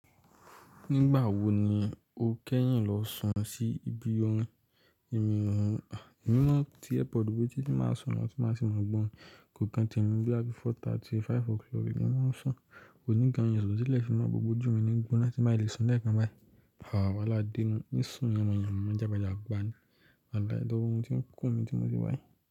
Nígbà wo ni o kẹ́yìn lọ sùn sí ibi orin? Èmi mán tí airpod bo etí tí n bá n sùn lọ tí máa sì mọ̀ gbọ́ orin. Kò kan tẹ̀mí bóyá bí four thirty sí five o'clock ni mo máa ń sùn. Ò ní gan n rò pé tilẹ̀ fi mọ̀ gbogbo ojú mi ní n gbóná tí n bá ti lè sùn lẹ́ẹ̀kan báyìí. Wàhálà dé nu, n sùn yanmọ̀-yanmọ jágba-jágba ni. À ti gbà yẹn tí oorun tí ń kùn mí tí mo ti wá yí.